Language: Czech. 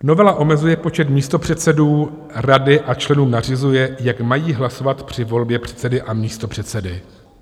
Novela omezuje počet místopředsedů rady a členům nařizuje, jak mají hlasovat při volbě předsedy a místopředsedy.